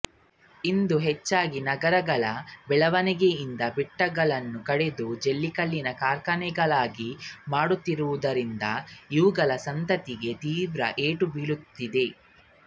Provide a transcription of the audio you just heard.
ಇಂದು ಹೆಚ್ಚಾಗಿ ನಗರಗಳ ಬೆಳವಣಿಗೆಯಿಂದ ಬೆಟ್ಟಗಳನ್ನು ಕಡಿದು ಜೆಲ್ಲಿಕಲ್ಲಿನ ಕಾರ್ಖಾನೆಗಳಾಗಿ ಮಾಡುತ್ತಿರುವುದರಿಂದ ಇವುಗಳ ಸಂತತಿಗೆ ತೀವ್ರ ಏಟು ಬೀಳುತ್ತಿದೆ